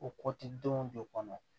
O kɔtidenw jɔ kɔnɔ